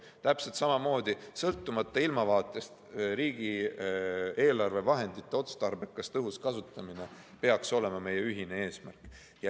Täpselt samamoodi, sõltumata ilmavaatest, peaks riigieelarve vahendite otstarbekas ja tõhus kasutamine olema meie ühine eesmärk.